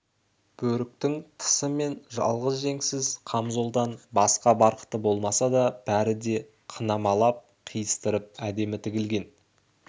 бөріктің тысы мен жалғыз жеңсіз қамзолдан басқа барқыты болмаса да бәрі де қынамалап қиыстырып әдемі тігілген